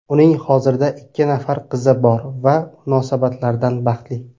Uning hozirda ikki nafar qizi bor va munosabatlardan baxtli.